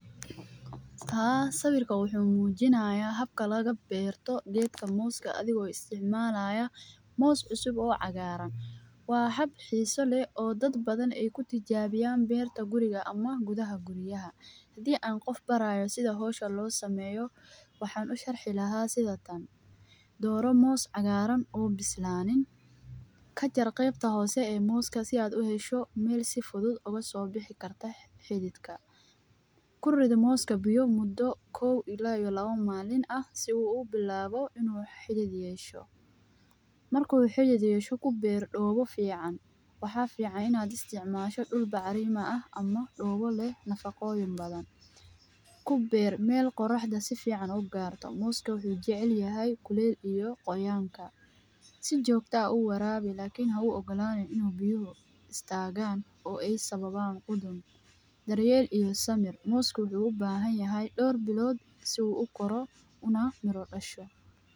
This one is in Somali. Haa sawirka wuxuu muujinayaa habka laga beerto geedka mooska adigoo isticmaalaya moos cusub oo cagaaran. Waa hab xiiso leh oo dad badan ay ku tijaabiyaan beerta guriga ama gudaha guriyaha. Hadii aan qof barayo sida hoosha loo sameeyo, waxaan u sharxi lahaa sidatan: dooro moos cagaaran uu bislaanin. Ka jarqee qebta hoose ee mooska si aad u hesho meel si fudud oga soo bixi karta xididgka. Ku rid mooska biyo muddo 1-2 maalin ah si uu u bilaabo inuu xidiidiyay u yesho. Markuu xidiidiyay ku beir dhowe fiican. Waxaa fiican inaad isticmaasho dhul bacriima ah ama dhowe leh nafaqo badan. Ku beir meel qoraxda si fiican u gaarto mooska wuxu jecel yahay kuleel iyo qoyaanka. Si joogto ah u waraabi laakiin ha u ogolaanyo inuu biyuhu staagan oo ay sababaan qudun. Daryeel iyo samir. Moosku wuxuu u baahan yahay dhawr bilood si uu u koro una mirno casho.